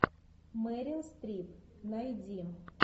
мерил стрип найди